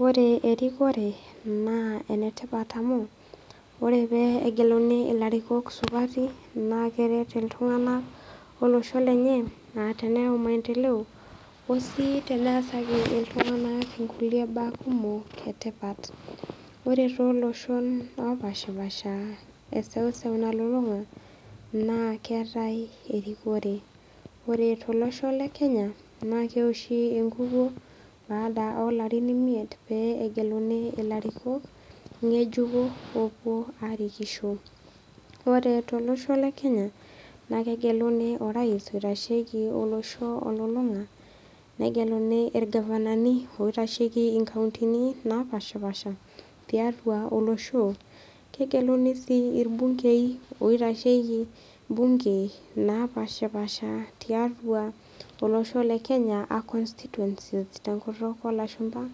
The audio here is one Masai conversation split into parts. Ore erikore, naa enetipat amu ore pee egeluni ilarikok supati naa keret iltung'ana olosho lenye a teneyau maendeleo osii teneasaki iltung'ana ingulie baa kumok etipat. Ore toloshon opaashipaasha e seuseu nalulung'a naa keatai erikore. Ore tolosho le Kenya, naa keoshi engukuo baada o larin imiet pee egeluni ilarikok ng'ejuko pee ewuo arikisho. Ore tolosho le Kenya naa kegeluni orais oitashieki olosho telulung'ata, negelu ilgavanani oitasheki inkautini naapaashipaasha tiatua olosho. Kegeluni sii ilbungei oitashieki ibungei naapaashipaasha tiatua olosho le Kenya a constituency tenkutuk olashumba.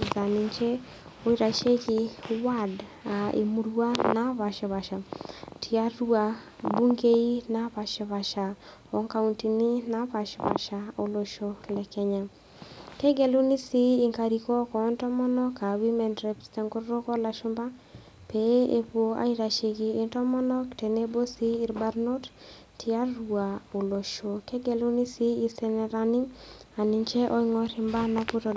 Negeluni MCA aa ninche oitashieki iwadi naapaashisha tiatua bungei napaashiipaasha o kauntini napaashipaasha olosho le Kenya. Kegeluni sii inkarikok o ntomono a women rep tenkutuk o lashumba pee ewuo aitashieki intomonok tenebo ilbarnot tiatua olosho. Kegelunii sii isenetani a ninche oing'r imbaa.